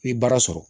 I ye baara sɔrɔ